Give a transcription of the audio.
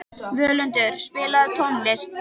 Völundur, spilaðu tónlist.